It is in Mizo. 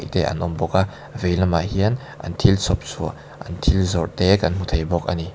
te an awm bawka a vei lamah hian an thil chhawp chhuah an thil zawrh te kan hmu thei bawk ani.